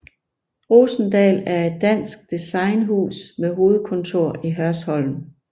Rosendahl er et dansk designhus med hovedkontor i Hørsholm